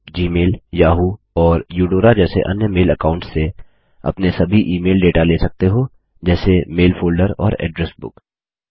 आप Gmail Yahoo और Eudora जैसे अन्य मेल अकाऊंट्स से अपने सभी ईमेल डेटा ले सकते हो जैसे मेल फ़ोल्डर और एड्रेस बुक